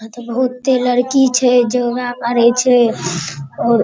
बहुते लड़की छे योगा करइ छे और --